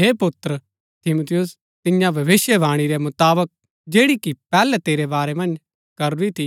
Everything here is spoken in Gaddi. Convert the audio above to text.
हे पुत्र तीमुथियुस तियां भविष्‍यवाणी रै मुताबक जैड़ी कि पैहलै तेरै बारै मन्ज करूरी थी